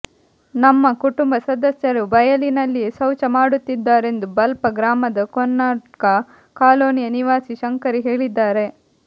ನಮ್ಮ ಕುಟುಂಬ ಸದಸ್ಯರು ಬಯಲಿನಲ್ಲಿಯೇ ಶೌಚ ಮಾಡುತ್ತಿದ್ದಾರೆಂದು ಬಲ್ಪ ಗ್ರಾಮದ ಕೊನ್ನಡ್ಕಾ ಕಾಲೋನಿಯ ನಿವಾಸಿ ಶಂಕರಿ ಹೇಳಿದ್ದಾರೆ